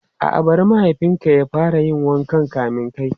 A'a, bari mahaifin ka ya fara yin wanka kamin kai.